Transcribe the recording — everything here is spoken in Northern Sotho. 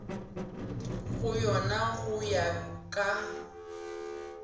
go yona go ya ka